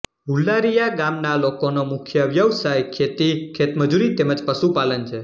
હુલારીયા ગામના લોકોનો મુખ્ય વ્યવસાય ખેતી ખેતમજૂરી તેમ જ પશુપાલન છે